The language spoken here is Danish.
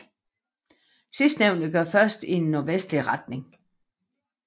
Sidstnævnte går først i nordvestlig retning